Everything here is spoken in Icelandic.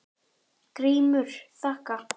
GRÍMUR: Þakka.